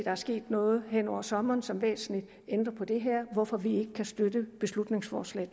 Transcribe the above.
er sket noget hen over sommeren som væsentligt ændrer på det her hvorfor vi ikke kan støtte beslutningsforslag